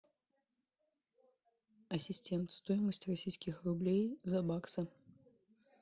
ассистент стоимость российских рублей за баксы